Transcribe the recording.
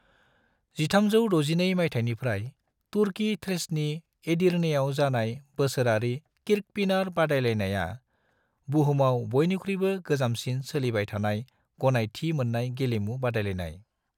1362 मायथाइनिफ्राय तुर्की थ्रेसनि एडिर्नेयाव जानाय बोसोरारि किर्कपिनार बादायलायनाया, बुहुमाव बयनिख्रुयबो गोजामसिन सोलिबाय थानाय, गनायथि मोन्नाय गेलेमु बादायलायनाय।